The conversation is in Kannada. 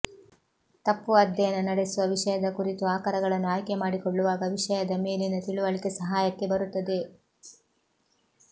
ತಪ್ಪು ಅಧ್ಯಯನ ನಡೆಸುವ ವಿಷಯದ ಕುರಿತು ಆಕರಗಳನ್ನು ಆಯ್ಕೆ ಮಾಡಿಕೊಳ್ಳುವಾಗ ವಿಷಯದ ಮೇಲಿನ ತಿಳುವಳಿಕೆ ಸಹಾಯಕ್ಕೆ ಬರುತ್ತದೆ